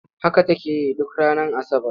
Haka take yi duk ranar Asabar.